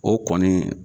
O kɔni